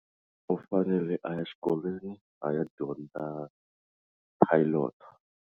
U fanele a ya xikolweni a ya dyondza pilot.